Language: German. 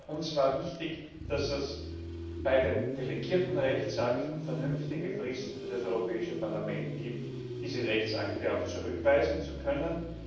Uns war wichtig, dass es bei den delegierten Rechtsakten vernünftige Fristen für das Europäische Parlament gibt, um diese Rechtsakte auch zurückweisen zu können.